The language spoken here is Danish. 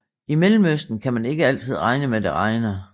I Mellemøsten kan man ikke altid regne med at det regner